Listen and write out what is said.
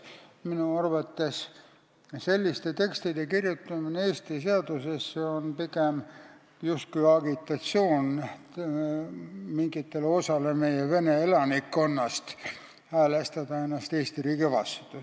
Minu arvates on selliste tekstide kirjutamine Eesti seadusesse justkui agitatsioon mingi osa meie vene elanikkonna häälestamiseks Eesti riigi vastu.